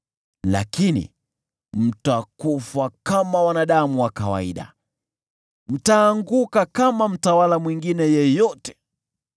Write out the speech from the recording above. Lakini mtakufa kama wanadamu wa kawaida; mtaanguka kama mtawala mwingine yeyote.”